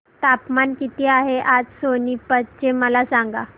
तापमान किती आहे आज सोनीपत चे मला सांगा